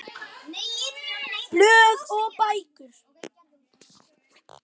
Blöð og bækur